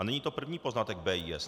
A není to první poznatek BIS.